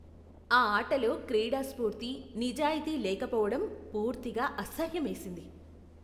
ఆ ఆటలో క్రీడా స్ఫూర్తి, నిజాయితీ లేకపోవడం పూర్తిగా అసహ్యమేసింది.